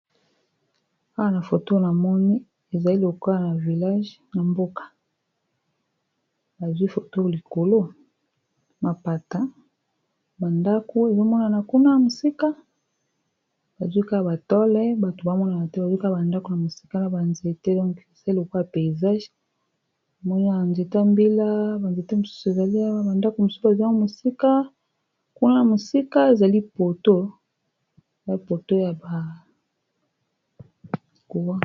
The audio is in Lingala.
Awa na foto na moni ezali loka na village na mboka bazwi foto likolo mapata, bandako ezomonana kuna a mosika bazwika batole bato bamonana te bazwika bandako na mosika na banzete donke ezali lokwa ya peysage mona yanzete mbila banzete mosusu ezali bandako mossu bazl mosikakuna na mosika ezali poto ya poto ya bakuwa.